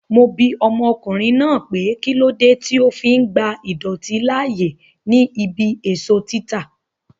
Mo bi ọmọkùnrin náà pé kílódé tí ó fi ń gba idọ̀tí láàyè ní ibí èso títa